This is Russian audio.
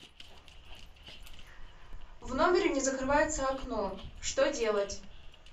в номере не закрывается окно что делать